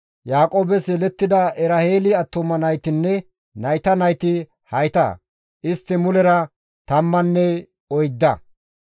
Yaaqoobes yelettida Eraheeli attuma naytinne nayta nayti hayta; istti mulera tammanne oydda.